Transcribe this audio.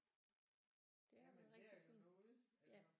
Det har været rigtig fint